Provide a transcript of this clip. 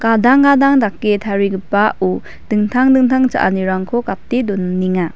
gadang gadang dake tarigipao dingtang dingtang cha·anirangko gate doninga .